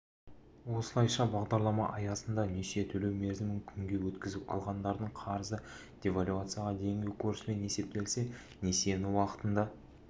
осылайша бағдаралама аясында несие төлеу мерзімін күнге өткізіп алғандардың қарызы девальвацияға дейінгі курспен есептелсе несиені уақытында